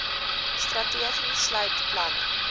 strategie sluit planne